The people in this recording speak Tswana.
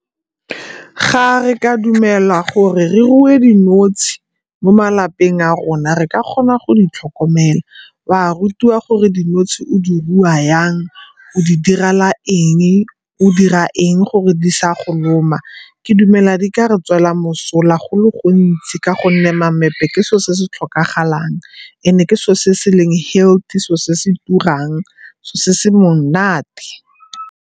Ga re ka dumela gore re rue dinotshe mo malapeng a rona re ka kgona go di tlhokomela. Wa rutiwa gore dinotshe o di rua yang, o di direla eng, o dira eng gore di sa go loma. Ke dumela di ka re tswela mosola go le gontsi ka gonne mamepe ke seo se se tlhokagalang, and-e ke seo se se leng healthy, seo se se turang, se se monate.